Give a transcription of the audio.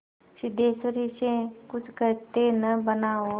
सिद्धेश्वरी से कुछ कहते न बना और